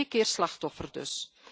Twee keer slachtoffer dus.